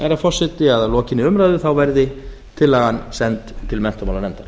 herra forseti að lokinni umræðu þá verði tillagan send til menntamálanefndar